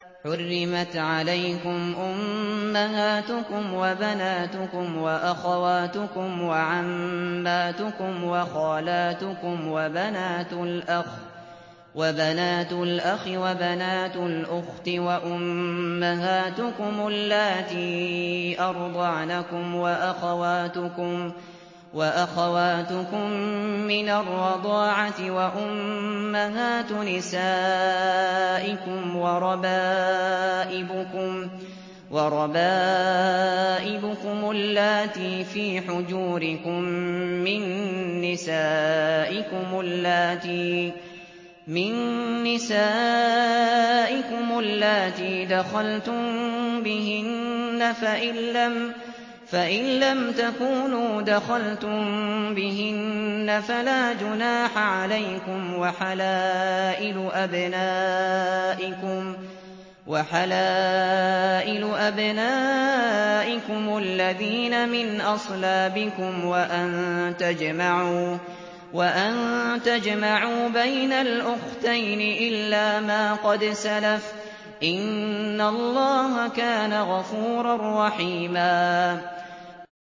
حُرِّمَتْ عَلَيْكُمْ أُمَّهَاتُكُمْ وَبَنَاتُكُمْ وَأَخَوَاتُكُمْ وَعَمَّاتُكُمْ وَخَالَاتُكُمْ وَبَنَاتُ الْأَخِ وَبَنَاتُ الْأُخْتِ وَأُمَّهَاتُكُمُ اللَّاتِي أَرْضَعْنَكُمْ وَأَخَوَاتُكُم مِّنَ الرَّضَاعَةِ وَأُمَّهَاتُ نِسَائِكُمْ وَرَبَائِبُكُمُ اللَّاتِي فِي حُجُورِكُم مِّن نِّسَائِكُمُ اللَّاتِي دَخَلْتُم بِهِنَّ فَإِن لَّمْ تَكُونُوا دَخَلْتُم بِهِنَّ فَلَا جُنَاحَ عَلَيْكُمْ وَحَلَائِلُ أَبْنَائِكُمُ الَّذِينَ مِنْ أَصْلَابِكُمْ وَأَن تَجْمَعُوا بَيْنَ الْأُخْتَيْنِ إِلَّا مَا قَدْ سَلَفَ ۗ إِنَّ اللَّهَ كَانَ غَفُورًا رَّحِيمًا